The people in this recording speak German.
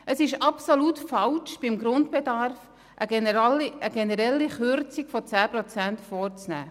Es ist absolut falsch, beim Grundbedarf eine generelle Kürzung von 10 Prozent vorzunehmen.